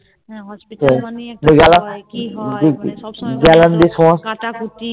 হ্যাঁ Hospital মানে একটা ভয় কি হয় সব সময় কিছু কাটাকুটি